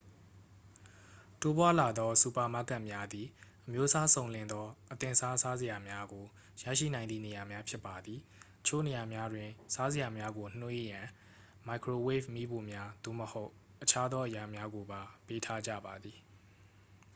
တိုးပွားလာသောစူပါမားကတ်များသည် အမျိုးအစားစုံလင်သော အသင့်စား စားစရာများကိုရရှိနိုင်သည့်နေရာများ ဖြစ်ပါသည် အချို့နေရာများတွင် စားစရာများကိုနွှေးရန် မိုက်ခရိုဝေ့ဗ်မီးဖိုများ သို့မဟုတ် အခြားသောအရာများကိုပါ ပေးထားကြပါသည်